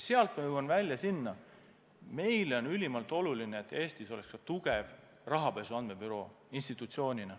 Nüüd ma jõuan välja sinna, et meile on ülimalt oluline, et Eestis oleks tugev rahapesu andmebüroo.